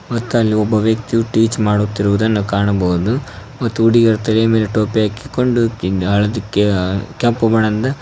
ಮತ್ತ ಅಲ್ಲಿ ಒಬ್ಬ ವ್ಯಕ್ತಿಯು ಟೀಚ್ ಮಾಡುತ್ತಿರುವುದನ್ನ ಕಾಣಬಹುದು ಮತ್ತು ಹುಡಗಿಯರ ತಲೆ ಮೇಲೆ ಟೋಪಿ ಹಾಕಿಕೊಂಡು ಕಿಂಗಾಳದಕ್ಕೆ ಅ ಕೆಂಪು ಬಣ್ಣದಿಂದ--